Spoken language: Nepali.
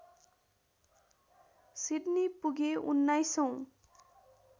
सिडनी पुगे उन्नाइसौँ